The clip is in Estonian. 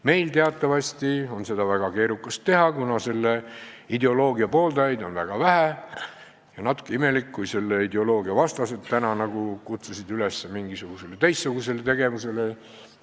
Meil teatavasti oleks seda väga keerukas teha, kuna selle ideoloogia pooldajaid on vähe ja oleks natuke imelik, kui selle ideoloogia vastased kutsuksid üles mingisugusele teistsugusele tegevusele.